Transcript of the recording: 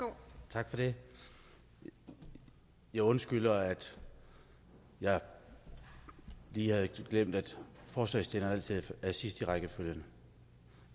tak for det jeg undskylder at jeg lige havde glemt at forslagsstilleren altid er sidst i rækkefølgen